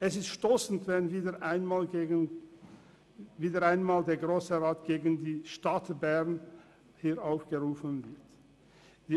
Es ist stossend, wenn der Grosse Rat wieder einmal gegen die Stadt Bern aufgerufen wird.